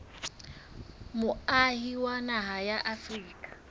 moahi wa naha ya afrika